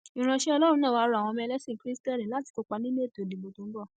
ìránṣẹ ọlọrun náà wàá rọ àwọn ẹlẹsìn kristẹni láti kópa nínú ètò ìdìbò tó ń bọ